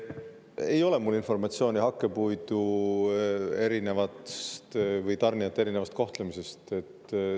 Ei ole mul informatsiooni hakkepuidutarnijate erineva kohtlemise kohta.